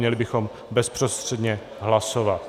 Měli bychom bezprostředně hlasovat.